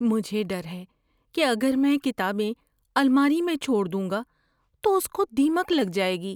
مجھے ڈر ہے کہ اگر میں کتابیں الماری میں چھوڑ دوں گا تو اس کو دیمک لگ جائے گی۔